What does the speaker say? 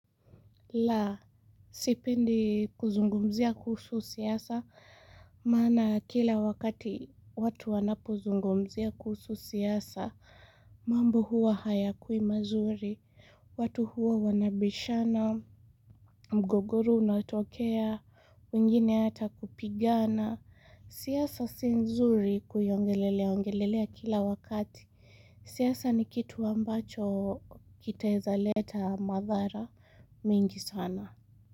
La, sipendi kuzungumzia kuhusu siasa, maana kila wakati watu wanapozungumzia kuhusu siasa, mambo huwa hayakui mazuri, watu huwa wanabishana, mgogoro unatokea, wengine hata kupigana, siasa si nzuri kuiongelelea, ongelelea kila wakati, siasa ni kitu ambacho kitaeza leta madhara mengi sana.